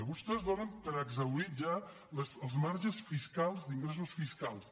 vostès donen per exhaurits ja els marges fiscals d’ingressos fiscals